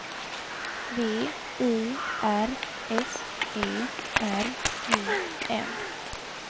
V I R S E R U M